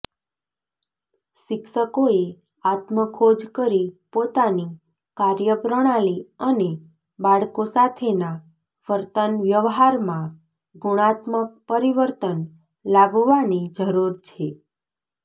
શિક્ષકોએ આત્મખોજ કરી પોતાની કાર્યપ્રણાલી અને બાળકો સાથેના વર્તનવ્યવહારમાં ગુણાત્મક પરિવર્તન લાવવાની જરૂર છે